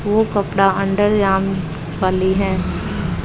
वो कपड़ा अंडर जाम वाली है।